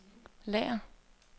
lager